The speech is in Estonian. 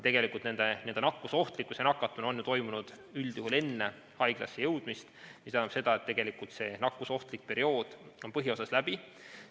Nakatumine on ju üldjuhul toimunud enne haiglasse jõudmist, mis tähendab seda, et tegelikult see nakkusohtlik periood on põhiosas läbi.